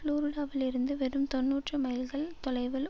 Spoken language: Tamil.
ஃபுளோரிடாவில் இருந்து வெறும் தொன்னூற்று மைல்கள் தொலைவில்